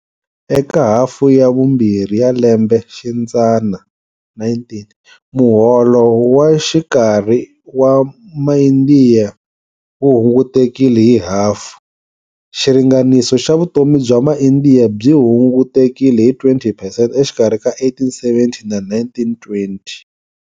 Eka hafu ya vumbirhi ya lembe xidzana 19, muholo wa xikarhi wa maIndiya wu hungutekile hi hafu. Xiringaniso xa vutomi bya maIndia byi hungutekile hi 20 percent exikarhi ka 1870 na 1920.